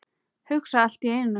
Hugsa allt í einu.